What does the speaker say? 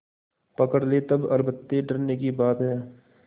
पकड़ ले तब अलबत्ते डरने की बात है